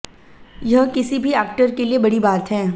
यह किसी भी एक्टर के लिए बड़ी बात है